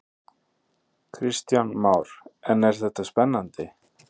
Kristján Már: En er þetta spennandi?